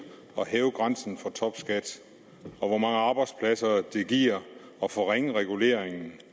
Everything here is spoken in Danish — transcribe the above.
at hæve grænsen for topskat og hvor mange arbejdspladser det giver at forringe reguleringen